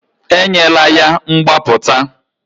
Enyela ya mgbapụta!